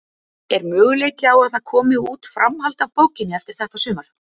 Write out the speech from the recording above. Er möguleiki á að það komi út framhald af bókinni eftir þetta sumar?